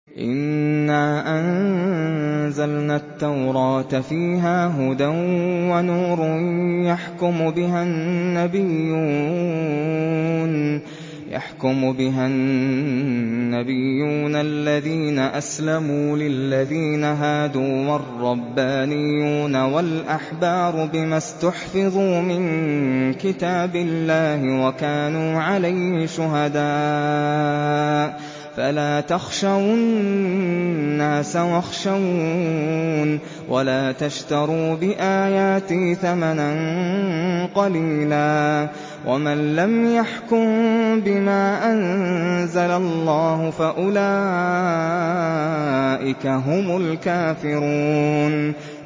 إِنَّا أَنزَلْنَا التَّوْرَاةَ فِيهَا هُدًى وَنُورٌ ۚ يَحْكُمُ بِهَا النَّبِيُّونَ الَّذِينَ أَسْلَمُوا لِلَّذِينَ هَادُوا وَالرَّبَّانِيُّونَ وَالْأَحْبَارُ بِمَا اسْتُحْفِظُوا مِن كِتَابِ اللَّهِ وَكَانُوا عَلَيْهِ شُهَدَاءَ ۚ فَلَا تَخْشَوُا النَّاسَ وَاخْشَوْنِ وَلَا تَشْتَرُوا بِآيَاتِي ثَمَنًا قَلِيلًا ۚ وَمَن لَّمْ يَحْكُم بِمَا أَنزَلَ اللَّهُ فَأُولَٰئِكَ هُمُ الْكَافِرُونَ